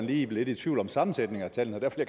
blive lidt i tvivl om sammensætningen af tallene og derfor